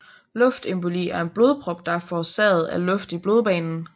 Luftemboli er en blodprop der er forårsaget af luft i blodbanen